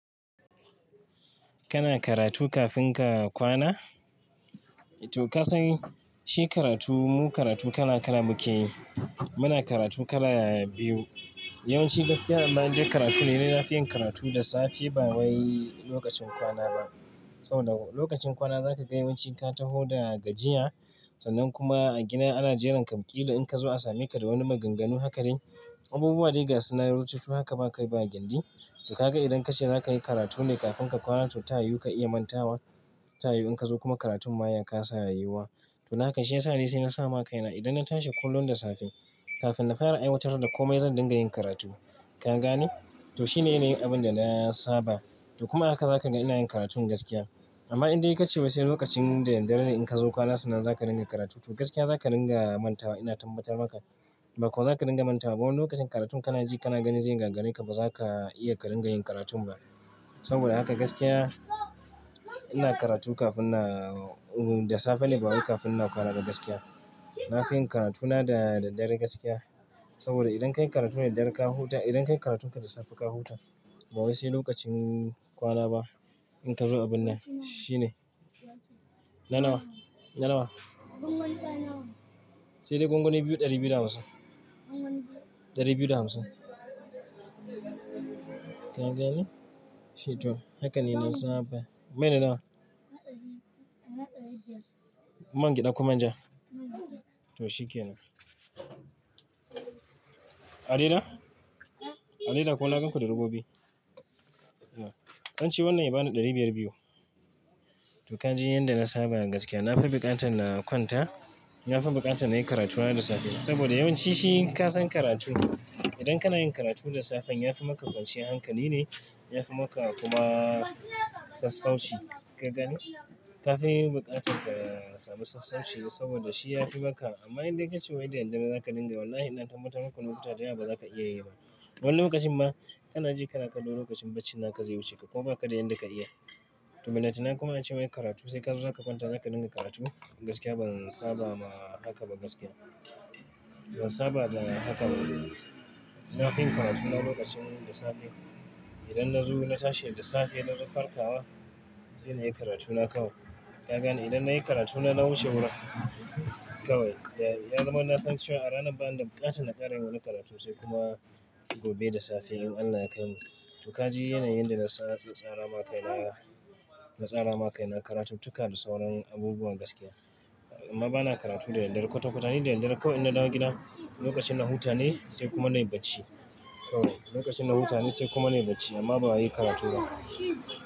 Kana karatu kafin ka kwana? To ka san shi karatu, mu karatu kala kala muke yi. Muna karatu kala biyu. Yawan ci gaskiya, an in dai karatu ne. Na fi yin karatu da safe ba wai lokacin kwana ba. Saboda lokacin kwana zaka ga yawanci ka taho daga jiya sannan kuma a gida ana jiran ka ƙila in ka zo a same ka da wani maganganu haka dai. Abubuwa da yiga suna rututu haka ba kai ba gindi. To kaga idan kace zakayi karatu ne kafin ka kwana to tayo ka iya mantawa. Tayoyi in ka zo kuma karatun ma yaka sa yuwa. To haka shi ya sa ne sai na sama kaina idan na tashi kullum da safe kafin na fara aiwatar da komai zan dinga yin karatu. Ka gane? To shine yana yin abin da na saba. To kuma haka za ka ga ina yin karatun gaskiya. Amma indai ka ce wasai lokacin da daddare ne in ka zo kwana sannan zaka dinga karatu to gaskiya zaka dinga manta wa ina tambatar maka. Ba kuwa zaka dinga manta ba wani lokacin karatu kana ji kana gani zai rangarai ka ba zaka iya ka dinga yin karatu ba. Saboda haka gaskiya ina karatu kafin na, da safe ne ba wai kafin na kwana ba gaskiya. Na fi yin karatuna da, da dare gaskiya. Saboda idan ka yi karatun da dare ka huta, idan ka yi karatun ka da safe ka huta ba wai sai lokacin kwana ba in ka zo abun nan. Shi ne. Na nawa? Na nawa? Gwangwani tara nawa. Sai dai gwangwani biyu ɗari biyu da hamsin. Gwangwani biyu. Ɗari biyu da hamsin. Ka gane? Shi to. Haka ne na saba. Mene nawa? Manga biyu. Manga biyu da kuma jan. Mangi ɗa ku ma jan? Mh. To shi ke nan. Adida? Eh. Adida ko na ganku da rigobi? Dan ce wannan ya bani ɗari biyar biyu. To ka ji yan da na saba da gaskiya. Na fi buƙatan na kwanta, na fi buƙatan na yi karatuna da safe. Saboda yawanci shi ka san karatu idan kana yin karatu da safe ya fi maka kwanciyar hankali ne, ya fi maka kuma sassauci. Ka gane? Ka fi yin buƙatar ka sami sassauci saboda shi ya fi maka. Amma indai ka ce wai daddare za ka dinga wallahi ina tambatar maku lokuta da ba za ka iya yi ba. Wani lokacin ma kana ji kana kallo lokacin baccin naka zai wuce ka kuma baka da yanda ka iya. To me na tuna kuma na ce wai karatu sai ka zo za ka kwanta za ka dinga karatu gaskiya ban saba ma haka ba gaskiya. Ban saba da haka ba. Na fi yin karatuna lokacin da safe. Idan na zo na tashe da safe na zo farkawa sai na yi karatuna kawai. Ka gane? Idan na yi karatuna na wuce wurin kawai ya, ya zama ina son cewa a ranar ba'anda buƙata na ƙara yi wani karatu sai kuma gobe da safe in Allah ya kaimu. To ka ji yanayin da na saba tsara ma kaina, na tsara ma kaina karatutuka da sauran abubuwan gaskiya. Amma bana karatu da daddare. Kwata kwata ni da daddare kawai inna dawo gida lokacin na huta ne sai kuma na yi bacci kawai. Lokacin na huta ne sai kuma na yi bacci amma ba wai yi karatu ba.